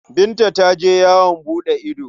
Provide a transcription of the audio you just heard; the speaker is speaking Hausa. Binta ta je yawon buɗe ido.